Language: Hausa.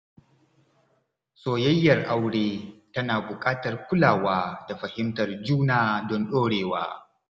Soyayyar aure tana buƙatar kulawa da fahimtar juna don ɗorewa.